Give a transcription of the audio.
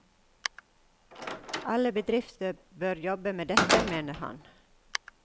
Alle bedrifter bør jobbe med dette, mener han.